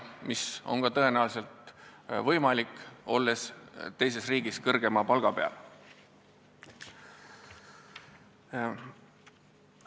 Mis pole tõenäoliselt kuigi hull, kui ollakse teises riigis kõrgema palga peal.